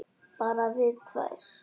Bara við tvær.